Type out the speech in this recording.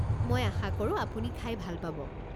মই আশা কৰোঁ আপুনি খাই ভাল পাব।